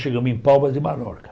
Chegamos em Palma de Mallorca.